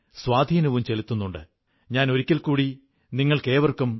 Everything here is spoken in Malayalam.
എന്നാൽ അതിലും എന്തെങ്കിലുമൊക്കെ നിയന്ത്രണങ്ങളേർപ്പെടുത്തപ്പെട്ടിട്ടുണ്ട്